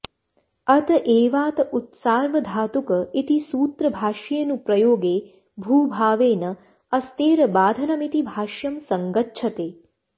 अत एवाऽत उत्सार्वधातुक इति सूत्रभाष्येऽनुप्रयोगे भूभावेन अस्तेरबाधनमिति भाष्यं सङ्गच्छते